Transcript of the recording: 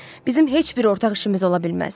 Bizim heç bir ortaq işimiz ola bilməz.